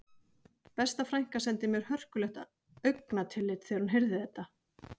Besta frænka sendi mér hörkulegt augnatillit þegar hún heyrði þetta